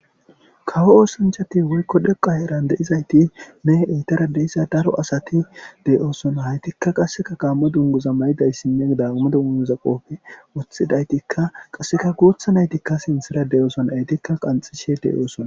Kawo oosanchati wuykko dheqa eran de7izayti ne eitara deisa daro asati de7oosona haytikka qasseka qaamo dunguza maydayssinne dagumadugunuza qoofi wothidaytikka qasseka guutha naytikka sinthira deyoosona aytikka qanxishe deyoosona.